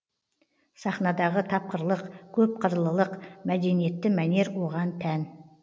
сахнадағы тапқырлық көпқырлылық мәдениетті мәнер оған тән